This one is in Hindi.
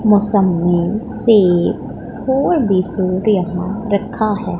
मुसम्मी सेब और भी फ्रूट यहां रखा है।